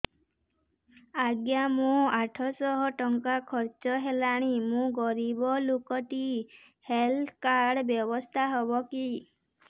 ଆଜ୍ଞା ମୋ ଆଠ ସହ ଟଙ୍କା ଖର୍ଚ୍ଚ ହେଲାଣି ମୁଁ ଗରିବ ଲୁକ ଟିକେ ହେଲ୍ଥ କାର୍ଡ ବ୍ୟବସ୍ଥା ହବ କି